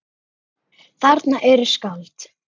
Þarna eru skáld.